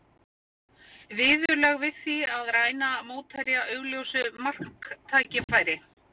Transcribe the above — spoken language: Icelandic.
Viðurlög við því að ræna mótherja augljósu marktækifæri?